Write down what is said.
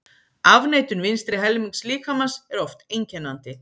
Afneitun vinstri helmings líkamans er oft einkennandi.